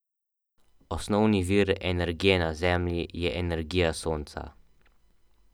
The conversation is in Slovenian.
Osnovni vir energije na Zemlji je energija Sonca.